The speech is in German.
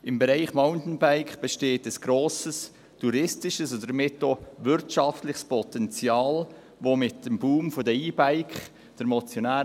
Im Bereich des Mountainbikens besteht ein grosses touristisches und damit auch wirtschaftliches Potenzial, das durch den Boom der E-Bikes noch zusätzlich verstärkt wird;